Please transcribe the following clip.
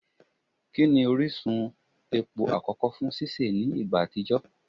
Kini orisun epo akọkọ fun sise ni igba atijọ?